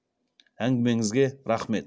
әңгімеңізге рақмет